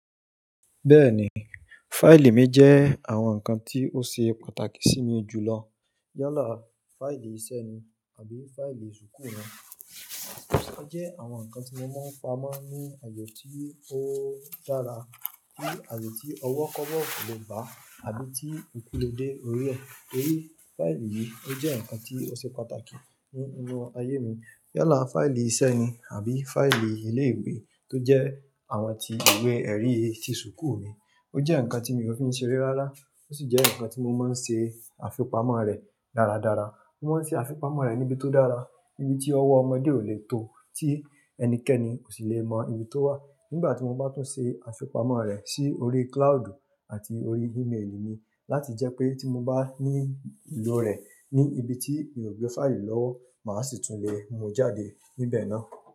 Bẹ́ẹ̀ni, fáìlì mi jẹ́ àwọn nǹkan tí ó ṣe pàtàkì sí mi jùlọ. Yálà fáìlì iṣẹ́ ni àbí fáìlì school ni. Ó jẹ́ àwọn nǹkan tí mo máa ń pamọ́ ní àyè tí ó dára, ní àyè tí ọwọ́ kọ́wọ̀ ò lè bà á àbí tí ekú lè dé orí ẹ. Torí fáìlì yìí ó jẹ́ nǹkan tí ó ṣe pàtàkì ní inú ayé mi. Yálà fáìlì iṣẹ́ ni àbí fáìlì ilé ìwé tó jẹ́ àwọn ti ìwé ẹ̀rí ti school mi. Ó jẹ́ nǹkan tí mi ò fi n ṣe re rárá. Ó sì jẹ́ nǹkan tí mo máa ń ṣe àfipamọ́ rẹ̀ dáradára. Mo máa ń ṣe àfipamọ́ rẹ̀ níbi tó dára, níbi tí ọwọ́ ọmọdé ò lè tó, tí ẹnikẹ́ni ò sì lè mọ ibi tó wà. Nígbà tí mo bá tún ṣe àfipamọ́ rẹ̀ sí orí cloud àti orí email mi láti jẹ́ pé tí mo bá ní ìlò rẹ̀ ní ibi tí mi ò gbé fáìlì lọ́wọ́ máa sì tún lè múu jáde níbẹ̀ náà.